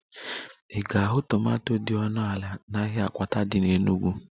Ị ga-ahụ tomanto dị ọnụ ala n'ahịa akwata dị n'Enugwu